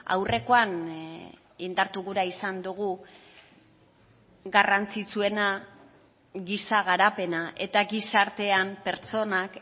aurrekoan indartu gura izan dugu garrantzitsuena giza garapena eta gizartean pertsonak